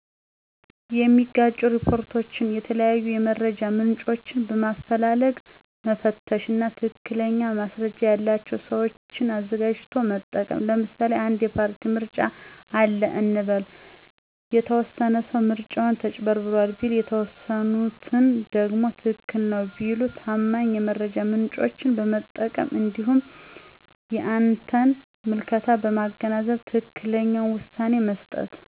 የሚጋጩ ሪፖርቶችን የተለያዩ የመረጃ ምንጮችን በማፈላለግ መፈተሽ እና ትክክለኛ ማስረጃ ያለቸውን ሰዎች አዘጋጅቶ መጠቀም ለምሳሌ አንድ የፓርቲ ምርጫ አለ እንበል፤ የተወሰነ ሰው ምርጫው ተጭበርብሯል ቢል የተወሰኑት ደግሞ ትክክል ነው ቢሉ ታማኝ የመረጃ ምንጮችን በመጠቀም እንዲሁም የአንተን ምልከታ በማገናዘብ ትክክለኛውን ውሳኔ መስጠት።